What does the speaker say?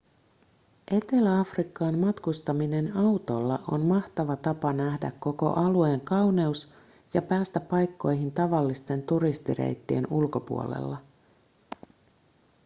etelä-afrikkaan matkustaminen autolla on mahtava tapa nähdä koko alueen kauneus ja päästä paikkoihin tavallisten turistireittien ulkopuolella